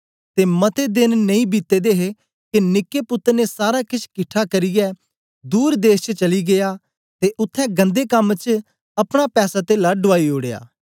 ते मते देन नेई बीते दे हे के निक्के पुत्तर ने सारा केछ किट्ठा करियै दूर देश च चली गीया ते उत्थें गन्दे कम च अपने पैसातेला डुआई ओड़या